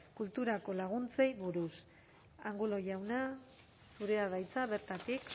kulturarako laguntzei buruz angulo jauna zurea da hitza bertatik